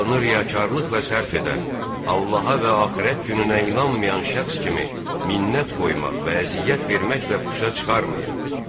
alınır ya karlılıqla sərf edən Allaha və axirət gününə inanmayan şəxs kimi minnət qoymaq və əziyyət verməklə buça çıxarmayın.